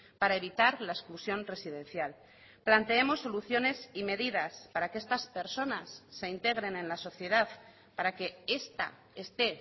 para evitar la exclusión residencial planteemos soluciones y medidas para que estas personas se integren en la sociedad para que esta esté